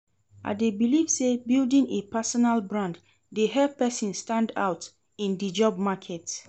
I dey believe say building a personal brand dey help person stand out in di job market.